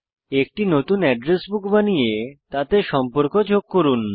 একটি নতুন address book বানিয়ে তাতে সম্পর্ক যোগ করুন